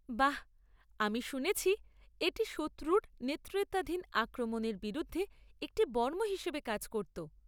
বাহ। আমি শুনেছি এটি শত্রুর নেতৃত্বাধীন আক্রমণের বিরুদ্ধে একটি বর্ম হিসেবে কাজ করত।